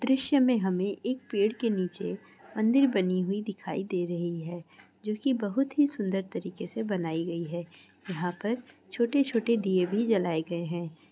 दृश्य में हमें एक पेड़ के नीचे मंदिर बनी हुई दिखाई दे रही है जो की बहुत ही सुंदर तरीके से बनाई गई है| यहाँ पर छोटे-छोटे दीये भी जलाए गए हैं।